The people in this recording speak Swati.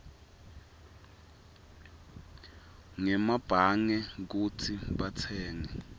ngemabhange kutsi batsenge